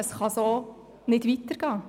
So kann es nicht weitergehen!